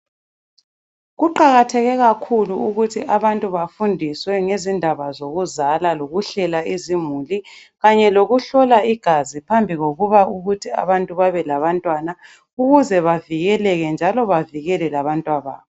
Kuqakatheke kakhulu ukuthi abantu bafundiswe ngezindaba zokuzala lokuhlela izimuli kanye lokuhlola igazi phambi kokuthi abantu babelabantwana, ukuze bavikeleke njalo bavikele abantwana babo.